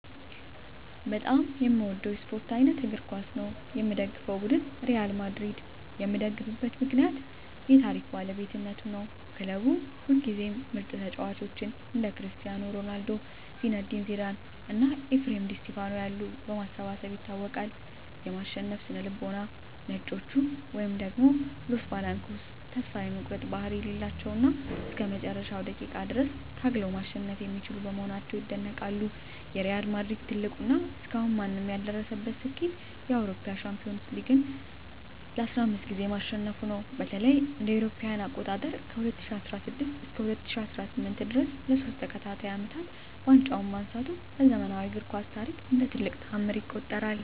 በጣም የምወደው የስፓርት አይነት እግር ኳስ ነው። የምደግፈው ቡድን ሪያል ማድሪድ ነው። የምደግፍበት ምክንያት ዠ የታሪክ ባለቤትነት ክለቡ ሁልጊዜም ምርጥ ተጫዋቾችን (እንደ ክርስቲያኖ ሮናልዶ፣ ዚነዲን ዚዳን እና አልፍሬዶ ዲ ስቲፋኖ ያሉ) በማሰባሰብ ይታወቃል። የማሸነፍ ስነ-ልቦና "ነጮቹ" (Los Blancos) ተስፋ የመቁረጥ ባህሪ የሌላቸው እና እስከ መጨረሻው ደቂቃ ድረስ ታግለው ማሸነፍ የሚችሉ በመሆናቸው ይደነቃሉ። የሪያል ማድሪድ ትልቁ እና እስካሁን ማንም ያልደረሰበት ስኬት የአውሮፓ ሻምፒዮንስ ሊግን (UEFA Champions League) ለ15 ጊዜያት ማሸነፉ ነው። በተለይም እ.ኤ.አ. ከ2016 እስከ 2018 ድረስ ለሶስት ተከታታይ አመታት ዋንጫውን ማንሳቱ በዘመናዊው እግር ኳስ ታሪክ እንደ ትልቅ ተአምር ይቆጠራል።